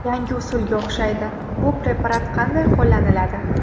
Yangi usulga o‘xshaydi, bu preparat qanday qo‘llaniladi?